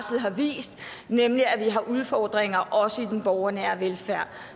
vist nemlig at vi har udfordringer også i den borgernære velfærd